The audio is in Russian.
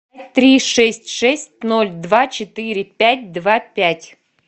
три шесть шесть ноль два четыре пять два пять